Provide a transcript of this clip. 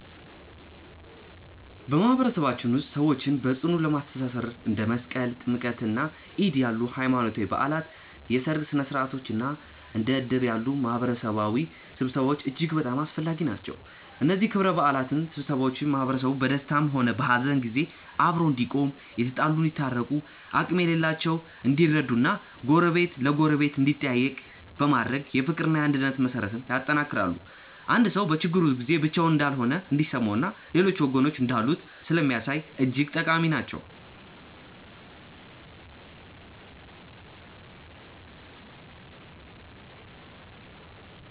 በማህበረሰባችን ውስጥ ሰዎችን በጽኑ ለማስተሳሰር እንደ መስቀል፣ ጥምቀትና ዒድ ያሉ ሃይማኖታዊ በዓላት፣ የሠርግ ሥነ ሥርዓቶች እና እንደ እድር ያሉ የማህበረሰብ ስብሰባዎች እጅግ በጣም አስፈላጊ ናቸው። እነዚህ ክብረ በዓላትና ስብሰባዎች ማህበረሰቡ በደስታም ሆነ በሐዘን ጊዜ አብሮ እንዲቆም፣ የተጣሉ እንዲታረቁ፣ አቅም የሌላቸው እንዲረዱ እና ጎረቤት ለጎረቤት እንዲጠያየቅ በማድረግ የፍቅርና የአንድነት መሠረትን ያጠነክራሉ። አንድ ሰው በችግሩ ጊዜ ብቻውን እንዳልሆነ እንዲሰማውና ሌሎች ወገኖች እንዳሉት ስለሚያሳይ እጅግ ጠቃሚ ናቸው።